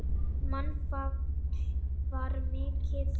Mannfall var mikið.